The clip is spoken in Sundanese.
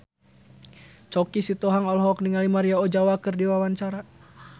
Choky Sitohang olohok ningali Maria Ozawa keur diwawancara